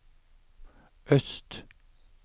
øst